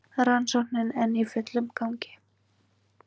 Rannsóknin enn í fullum gangi